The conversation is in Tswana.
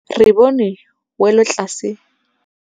Re bone wêlôtlasê